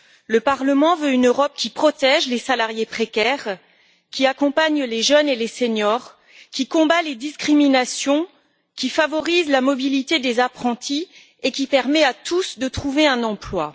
Le Parlement veut une Europe qui protège les salariés précaires, qui accompagne les jeunes et les seniors, qui combat les discriminations, qui favorise la mobilité des apprentis et qui permet à tous de trouver un emploi.